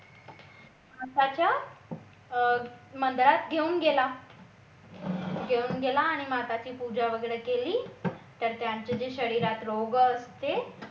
मधात घेऊन गेला घेऊन गेला आणि माताची पूजा वगैरे केली तर त्यांचे जे शरीरात रोग असत